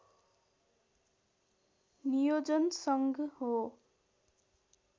नियोजन सङ्घ हो